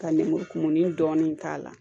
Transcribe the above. Ka lemurukumuni dɔɔnin k'a la